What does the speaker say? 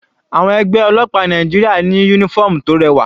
Àwọn ẹgbẹ́ ọlọ́pàá Nàìjíríà ní uniform tó rẹwà.